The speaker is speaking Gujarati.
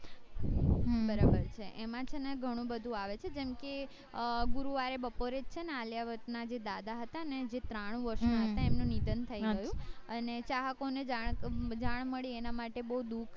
હમ બરાબર છે એમાં છે ને ઘણું બધું આવે છે જેમ કે અ ગુરુવારે બપોરે છેને આલિયા ભટ્ટ ના જે દાદા હતા ને જે ત્રાણું વર્ષ ના હતા એમનું નિધન થય ગયું અને ચાહકો ને જાણ મળી એના માટે બૌ દૂખ